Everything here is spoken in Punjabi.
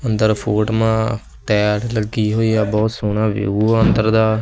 ਅੰਦਰ ਫੋਰਟ ਮਾਂ ਟਾਈਲ ਲੱਗੀ ਹੋਈਆ ਬਹੁਤ ਸੋਹਣਾ ਵਿਊ ਆ ਅੰਦਰ ਦਾ।